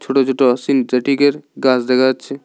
ছোট ছোট সিনথেটিকের গাছ দেখা যাচ্ছে।